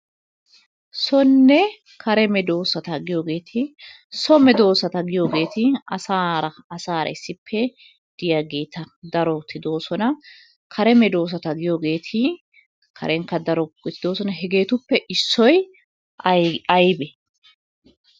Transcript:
Soonne kare medoosata giyoogeeti so medoosata giyooheeri asaara asaara issippe diyaageeta daroti doosona. Kare medoosata giyooheeti karenkka daro doosona. Hegetuppe issoy aybbe?